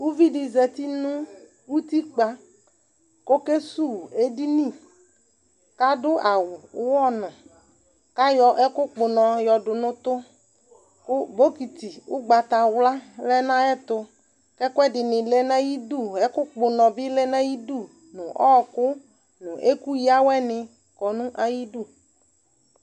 Uvi dɩ zati nʋ utikpǝ kʋ ɔkesuwu edini kʋ adʋ awʋ ʋɣɔnʋ kʋ ayɔ ɛkʋkpɔ ʋnɔ yɔdʋ nʋ ʋtʋ kʋ bɔkɩtɩ ʋgbatawla lɛ nʋ ayɛtʋ kʋ ɛkʋɛdɩnɩ lɛ nʋ ayidu, ɛkʋkpɔ ʋnɔ bɩ lɛ nʋ ayidu nʋ ɔɣɔkʋ nʋ ɛkʋyǝ awɛnɩ kɔ nʋ ayidu